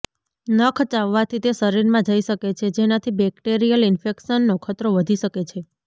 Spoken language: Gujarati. નખ ચાવવાથી તે શરીરમાં જઇ શકે છે જેનાથી બેક્ટેરિયલ ઇન્ફેક્શનનો ખતરો વધી શકે છે